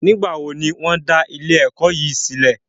Nígbàwo ni wọn da ilé ẹ̀kọ́ yìí sílẹ̀?